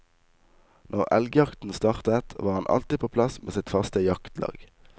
Når elgjakten startet, var han alltid på plass med sitt faste jaktlag.